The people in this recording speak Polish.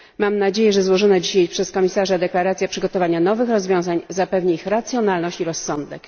Mam nadzieję, że złożona dzisiaj przez komisarza deklaracja przygotowania nowych rozwiązań zapewni ich racjonalność i rozsądek.